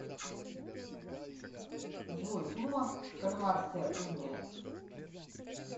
джой дума кальмарская уния